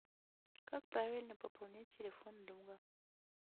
как правильно пополнять телефон друга